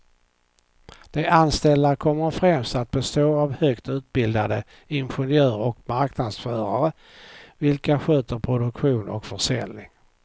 De anställda kommer främst att bestå av högt utbildade ingenjörer och marknadsförare, vilka sköter produktion och försäljning.